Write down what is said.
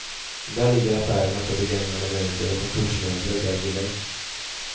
Där ligger affärerna för begagnade möbler och kontorsmöbler vägg i vägg.